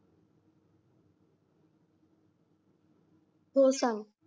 हो सांग